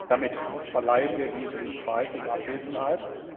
Damit verleihen wir diesen Preis in Abwesenheit.